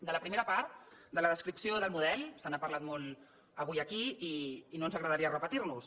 de la primera part de la descripció del model se n’ha parlat molt avui aquí i no ens agradaria repetir nos